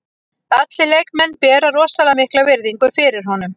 Allir leikmenn bera rosalega mikla virðingu fyrir honum.